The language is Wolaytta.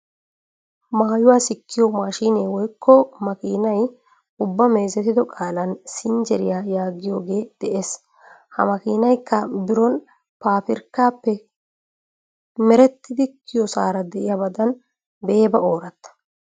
Maayuwa sikkiyo maashinee woykko makiinay ubba meezetido qaalan sinjjeriya yaagiyogee de'ees. Ha makiinaykka biron paafirkkaappe merettidi kiyosaara diyabadan beeba ooratta.